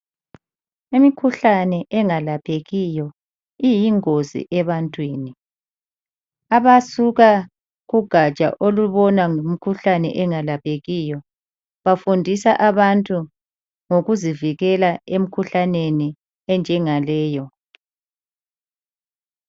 Imikhuhlane engalaphekiyo iyingozi ebantwini. Abasuka kugatsha olubona ngokomkhuhlane ongalaphekiyo bafundisa abantu ngokuzivikela emkhuhlaneni enjengaleyo.